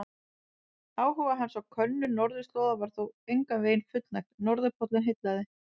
Áhuga hans á könnun norðurslóða var þó engan veginn fullnægt, norðurpóllinn heillaði.